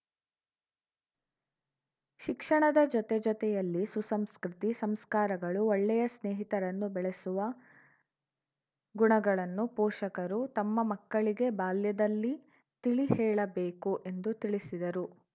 ಶಿಕ್ಷಣದ ಜೊತೆ ಜೊತೆಯಲ್ಲಿ ಸುಸಂಸ್ಕೃತಿ ಸಂಸ್ಕಾರಗಳು ಒಳ್ಳೆಯ ಸ್ನೇಹಿತರನ್ನು ಬೆಳೆಸುವ ಗುಣಗಳನ್ನು ಪೋಷಕರು ತಮ್ಮ ಮಕ್ಕಳಿಗೆ ಬಾಲ್ಯದಲ್ಲಿ ತಿಳಿಹೇಳಬೇಕು ಎಂದು ತಿಳಿಸಿದರು